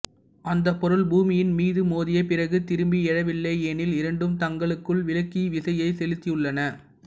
அந்த பொருள் பூமியின் மீது மோதிய பிறகு திரும்பி எழவில்லையெனில் இரண்டும் தங்களுக்குள் விளக்கு விசையை செலுத்தியுள்ளன